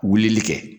Wulili kɛ